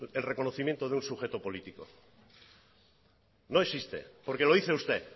el reconocimiento de un sujeto político no existe porque lo dice usted